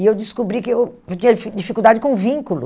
E eu descobri que eu tinha di dificuldade com vínculo.